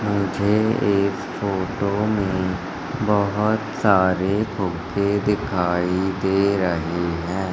मुझे इस फोटो में बहुत सारे फुगे दिखाई दे रहे हैं।